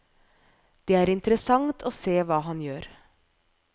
Det er interessant å se hva han gjør.